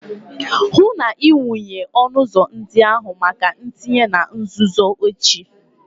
hụ na ị wụnye ọnụ ụzọ ndị ahụ maka ntinye na nzuzo echi